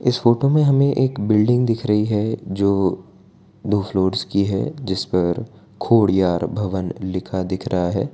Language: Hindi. इस फोटो में हमे एक बिल्डिंग दिख रही है जो दो फ्लोर्स की है जिस पर खोडियार भवन लिखा दिख रहा है।